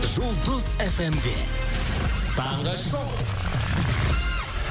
жұлдыз эф эм де таңғы шоу